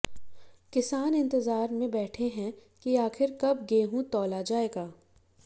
किसान इन्तजार में बैठे हैं कि आखिर कब गेहूं तौला जाएगा